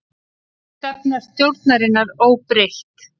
Stefna stjórnarinnar óbreytt